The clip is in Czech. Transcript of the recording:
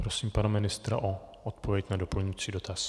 Prosím pana ministra o odpověď na doplňující dotaz.